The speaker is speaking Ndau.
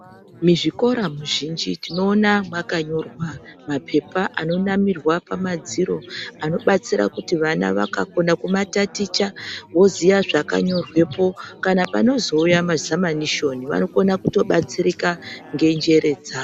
Muzvikora zvizhinji tinoona makanyorwa mapepa anonamirwa pamadziro anobatsira kuti vana vakakona kumataticha voziya zvakanyorwepo kana panozouya mazamanishoni vanokona kutobatsira nganjere dzavo.